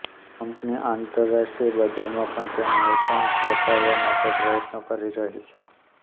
company આંતરરાષ્ટ્રીય બજારમાં પણ તેનું વેચાણ વધારવા માટે પ્રયત્નો કરી રહી છે